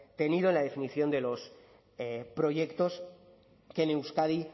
tenido en la definición de los proyectos que en euskadi